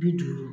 Bi duuru